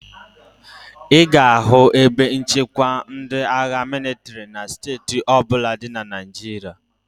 Ị ga-ahụ ebe nchekwa ndị agha mịlịtrị na steeti ọ bụla dị na Naịjirịa.